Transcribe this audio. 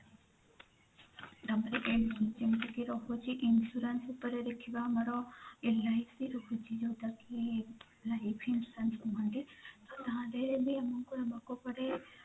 ତାପରେ ଯେମିତି କି ରହୁଛି insurance ଉପରେ ଦେଖିବା ଆମର LIC ରହୁଛି ଯୋଉଟା କି life insurance କୁହନ୍ତି ତା ଧିଅରେ ବି ଅମରକୁ ନବାକୁ ପଡେ